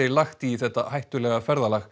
lagt í þetta hættulega ferðalag